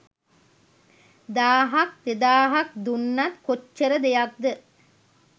දාහක් දෙදාහක් දුන්නත් කොච්චර දෙයක්ද